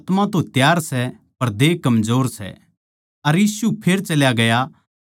अर यीशु फेर चल्या गया अर दोबारा भी वाए प्रार्थना करी